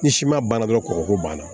Ni siman banna dɔrɔn kɔgɔko banna